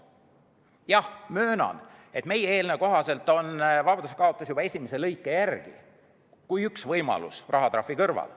Jah, möönan, et meie eelnõu kohaselt on vabadusekaotus juba esimese lõike järgi üks võimalus rahatrahvi kõrval.